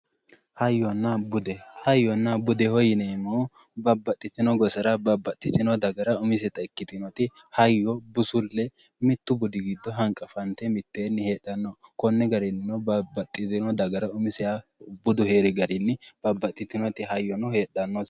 hayyonna bude hayyonna bude yineemmohu babbaxitinnoo gosara babbaxitinno dagara umiseta ikkitinota hayyyo busulle mittu budi giddo hanqafante mitteenni heedhanno konni garinni heedhanno budu heeri garinni hayyono heedhannose